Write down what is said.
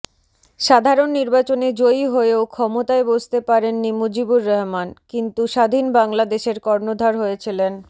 সাধারণ নির্বাচনে জয়ী হয়েও ক্ষমতায় বসতে পারেননি মুজিবুর রহমান কিন্তু স্বাধীন বাংলাদেশের কর্ণধার হয়েছিলেন